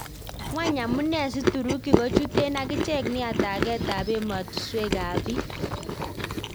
Kwang amune si turuki kochuten akichek nia taget ap emetuswek ap bii?